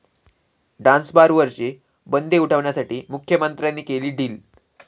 'डान्सबार'वरची बंदी उठवण्यासाठी मुख्यमंत्र्यांनी केलं डील'